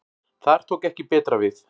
Þar tók ekki betra við.